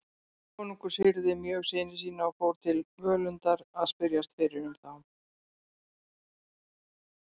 Konungur syrgði mjög syni sína og fór til Völundar að spyrjast fyrir um þá.